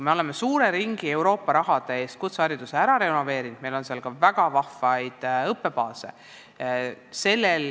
Me oleme Euroopa raha eest kutsehariduses suure ringi koole ära renoveerinud, meil on väga vahvaid õppebaase.